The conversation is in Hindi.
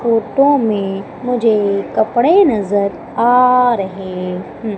फोटो में मुझे कपड़े नजर आ रहे हैं।